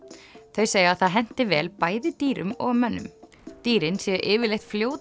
þau segja að það henti vel bæði dýrum og mönnum dýrin séu yfirleitt fljót